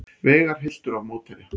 Veigar hylltur af mótherja